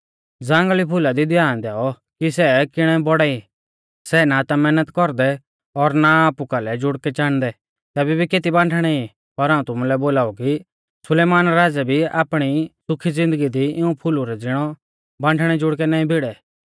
ज़ांगल़ी फुला दी ध्यान दैऔ कि सै किणै बौड़ा ई सै ना ता मैहनत कौरदै और ना आपु कालै जुड़कै चाणदै तैबै भी केती बांठणै ई पर हाऊं तुमुलै बोलाऊ कि सुलेमान राज़ै भी आपणी सुखी ज़िन्दगी दी इऊं फुलु ज़िणै बांठणै जुड़कै नाईं भिड़ै